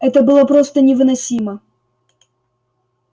это было просто невыносимо